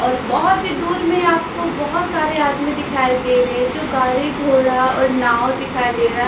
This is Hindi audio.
और बहोत ही दूर में आपको बहोत सारे आदमी दिखाई दे रहे हैं जो गाड़ी घोड़ा और नाव दिखाई दे रहा है।